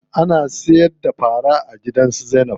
Ana siyar da fara a gidan su Zainab.